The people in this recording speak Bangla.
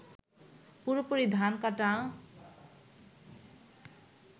পুরোপুরি ধান কাটা